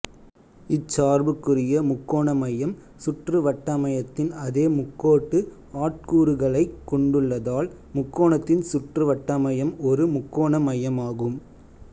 இச் சார்புக்குரிய முக்கோண மையம் சுற்றுவட்டமையத்தின் அதே முக்கோட்டு ஆட்கூறுகளைக் கொண்டுள்ளதால் முக்கோணத்தின் சுற்றுவட்டமையம் ஒரு முக்கோண மையம் ஆகும்